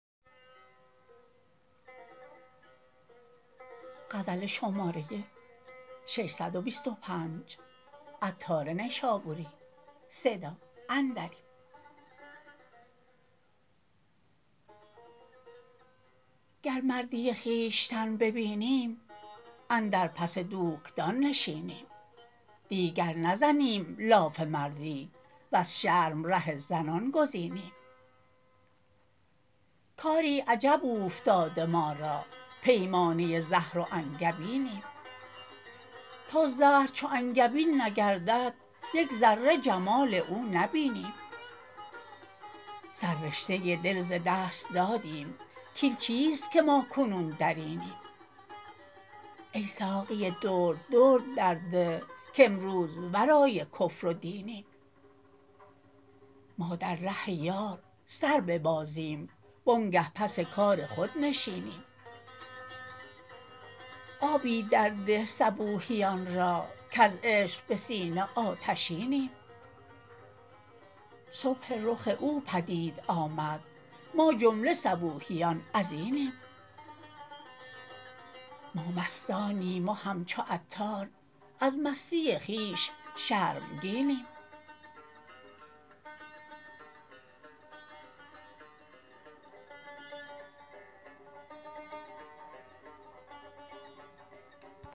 گر مردی خویشتن ببینیم اندر پس دوکدان نشینیم دیگر نزنیم لاف مردی وز شرم ره زنان گزینیم کاری عجب اوفتاده ما را پیمانه زهر و انگبینیم تا زهر چو انگبین نگردد یک ذره جمال او نبینیم سر رشته دل ز دست دادیم کین چیست که ما کنون درینیم ای ساقی درد درد در ده کامروز ورای کفر و دینیم ما در ره یار سر ببازیم وانگه پس کار خود نشینیم آبی در ده صبوحیان را کز عشق به سینه آتشینیم صبح رخ او پدید آمد ما جمله صبوحیان ازینیم ما مستانیم و همچو عطار از مستی خویش شرمگینیم